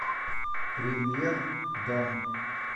премьер дом